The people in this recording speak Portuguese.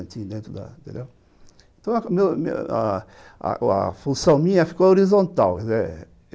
Então meu então, a função minha ficou horizontal.